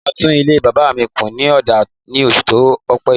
Mo máa tún ilé bàbá mi kù ní ọ̀dà ní oṣù ọpẹ́ yìí.